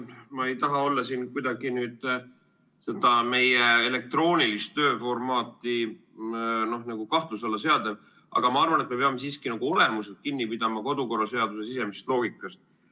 Ma ei taha kuidagi siin meie elektroonilist tööformaati kahtluse alla seada, aga ma arvan, et me peame siiski olemuslikult kinni pidama kodukorraseaduse sisemisest loogikast.